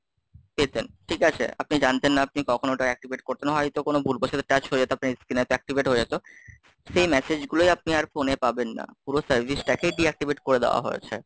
পেতেন, ঠিক আছে? আপনি জানতেন না আপনি কখন ওটা activate করতেন, হয়তো কোন ভুলবশত tuch হয়ে যেত, আপনার screen activate হয়ে যেত, সেই message গুলোই আপনি আর phone এ পাবেন না। পুরো service টাকেই Deactivate করে দেওয়া হয়েছে।